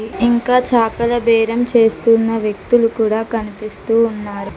ఇంకా చాపల బేరం చేస్తున్న వ్యక్తులు కూడా కనిపిస్తూ ఉన్నారు.